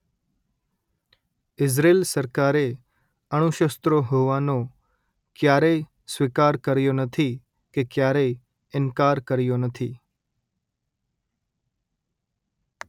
Israel સરકારે અણુશસ્ત્રો હોવાનો ક્યારેય સ્વીકાર કર્યો નથી કે ક્યારેય ઇનકાર કર્યો નથી